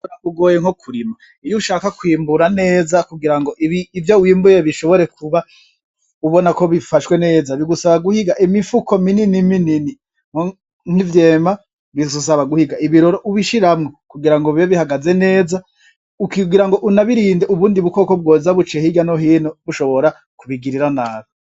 Kwimbura kugoye nko kurima, iyo ushaka kwimbura neza kugira ngo ivyo wimbuye ushobore kuba ubona ko bifashwe neza bigusaba guhiga imifuko minini, nk'ivyema bigusaba guhiga ibiroro ubishiramwo kugira ngo bibe bihagaze neza kugira ngo unabirinde nubundi bukoko bwoza buciye hirya no hino bushobora kubigirira nabi.